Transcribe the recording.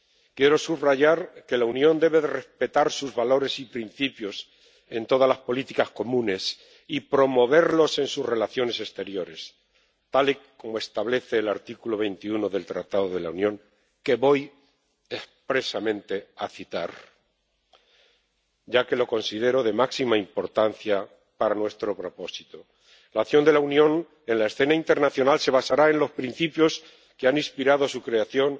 Quiero subrayar que la Unión debe respetar sus valores y principios en todas las políticas comunes y promoverlos en sus relaciones exteriores, tal y como establece el artículo 21 del Tratado de la Unión que voy expresamente a citar, ya que lo considero de máxima importancia para nuestro propósito La acción de la Unión en la escena internacional se basará en los principios que han inspirado su creación,